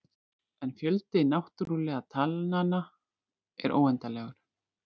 En fjöldi náttúrulegu talnanna er óendanlegur.